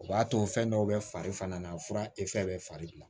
O b'a to fɛn dɔw bɛ fari fana na fura bɛ fari bila